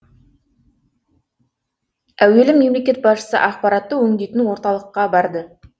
әуелі мемлекет басшысы ақпаратты өңдейтін орталыққа барды